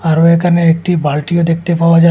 আরও এখানে একটি বালটিও দেখতে পাওয়া যা--